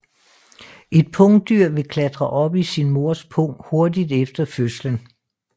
Et pungdyr vil klatre op i sin mors pung hurtigt efter fødslen